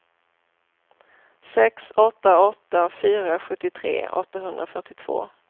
sex åtta åtta fyra sjuttiotre åttahundrafyrtiotvå